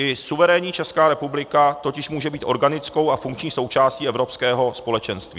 I suverénní Česká republika totiž může být organickou a funkční součástí evropského společenství.